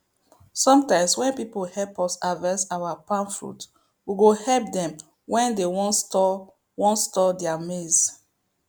sometimes when people help us harvest our palm fruit we go help them when they wan store wan store their maize